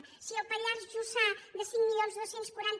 zero si el pallars jussà de cinc mil dos cents i quaranta